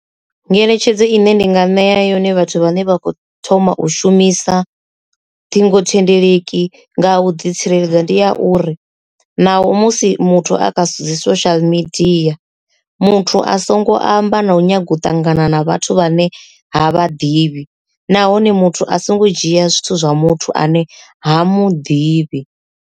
Ngeletshedzo ine ndinga nea yone vhathu vhane vha khou thoma u shumisa ṱhingothendeleki nga u ḓi tsireledza ndi ya uri naho musi muthu a kha zwithu dzi social media muthu a songo amba na u nyaga u ṱangana na vhathu vhane ha vha ḓivhi nahone muthu a songo dzhia zwithu zwa muthu ane ha muḓivhi.